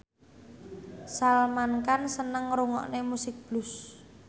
Salman Khan seneng ngrungokne musik blues